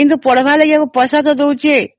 ହେଲେ ପଢିବା ପାଇଁ ପଇସା ତ ଦେଉଛି